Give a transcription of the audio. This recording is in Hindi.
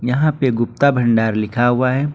यहां पे गुप्ता भंडार लिखा हुआ है।